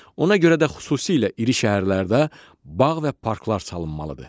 Ona görə də xüsusilə iri şəhərlərdə bağ və parklar salınmalıdır.